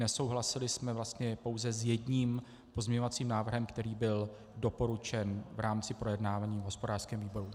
Nesouhlasili jsme vlastně pouze s jedním pozměňovacím návrhem, který byl doporučen v rámci projednávání v hospodářském výboru.